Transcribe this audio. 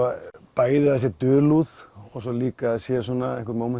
bæði að það sé dulúð og líka að það séu einhver